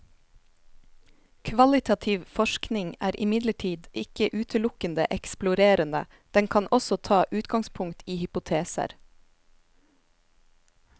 Kvalitativ forskning er imidlertid ikke utelukkende eksplorerende, den kan også ta utgangspunkt i hypoteser.